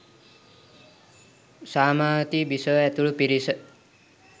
සාමාවතී බිසව ඇතුළු පිරිස